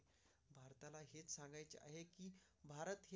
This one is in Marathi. भारत.